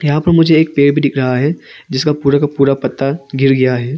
यहां पर मुझे एक पेर भी दिख रहा है जिसका पूरा का पूरा पत्ता गिर गया है।